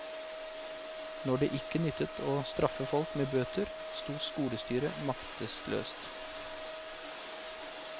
Når det ikke nyttet å straffe folk med bøter, stod skolestyret maktesløst.